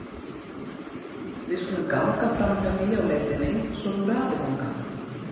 Við skulum ganga framhjá því á leiðinni svo þú ratir þangað.